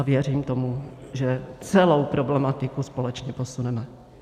A věřím tomu, že celou problematiku společně posuneme.